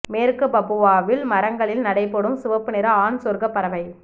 மேற்கு பப்புவாவில் மரங்களில் நடைபோடும் சிவப்பு நிற ஆண் சொர்க்கப் பறவை